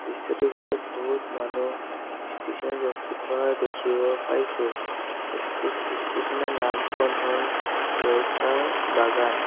দৃশ্যটোৰ ভিতৰত বহুত মানুহ ষ্টেচন ৰখি থকা দেখিব পাইছোঁ ষ্টেচ ষ্টেচন ৰ নাম খন হ'ল ৰৌতা বাগান।